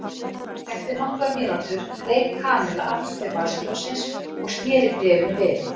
Eftir nokkra mínútur greip Kamilla aftur til vasaljóssins og snéri bréfinu við.